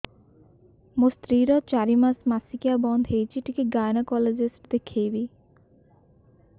ମୋ ସ୍ତ୍ରୀ ର ଚାରି ମାସ ମାସିକିଆ ବନ୍ଦ ହେଇଛି ଟିକେ ଗାଇନେକୋଲୋଜିଷ୍ଟ ଦେଖେଇବି